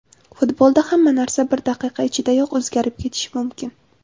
Futbolda hamma narsa bir daqiqa ichidayoq o‘zgarib ketishi mumkin.